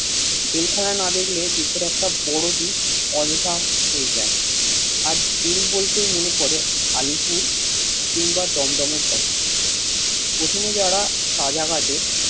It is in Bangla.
যেখানে না দেখলে দেশের একটা বড় দিক অদেখা হয়েযায় আর জেল বলতে মনে পরে আলীপুর কিংবা দমদমের কথা প্রথমে যারা সাযা ঘাটে